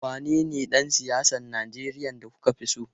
Wanene dan siyasar Najeriya da kuka fi so?